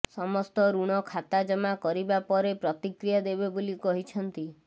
ସମସ୍ତ ଋଣ ଖାତା ଜମା କରିବା ପରେ ପ୍ରତିକ୍ରିୟା ଦେବେ ବୋଲି କହିଛନ୍ତି